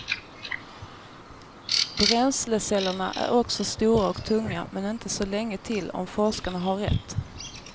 Bränslecellerna är också stora och tunga, men inte så länge till om forskarna har rätt.